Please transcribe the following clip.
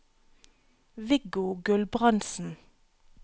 Viggo Gulbrandsen